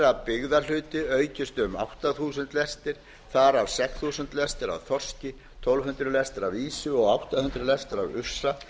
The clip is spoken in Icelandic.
að byggðahluti aukist um átta þúsund lestir af að sex þúsund lestir af þorski tólf hundruð lestir af ýsu og átta hundruð lestir af ufsa